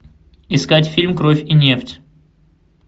искать фильм кровь и нефть